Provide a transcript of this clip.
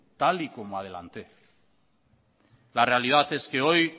tal y como adelanté la realidad es que hoy